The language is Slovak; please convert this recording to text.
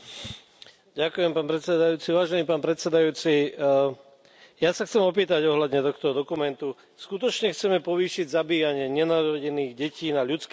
Vážený pán predsedajúci, ja sa chcem opýtať ohľadne tohto dokumentu skutočne chceme povýšiť zabíjanie nenarodených detí na ľudské právo a na právo žien?